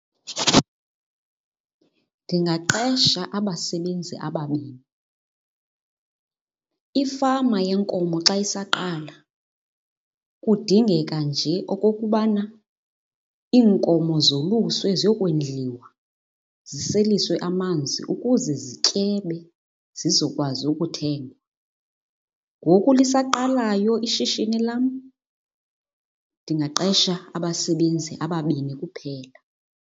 Ndingaqesha abasebenzi ababini. Ifama yeenkomo xa isaqala kudingeka nje okokubana iinkomo zoluswe ziyokondliwa, ziseliswe amanzi ukuze zityebe zizokwazi ukuthengwa. Ngoku lisaqalayo ishishini lam ndingaqesha abasebenzi ababini kuphela.